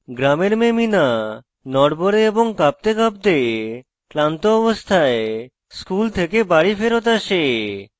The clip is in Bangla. গ্রামের মেয়ে meena নড়বড়ে এবং কাঁপতেকাঁপতে ক্লান্ত অবস্থায় school থেকে বাড়ি ফেরৎ আসে